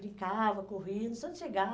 Brincava, corria, num instante chegava.